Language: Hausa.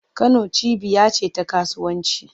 Kano cibiya ce ta kasuwanci.